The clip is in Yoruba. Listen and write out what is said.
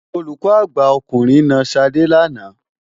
Olùkọ́ àgbà ọkùnrin na Ṣadé lánàá.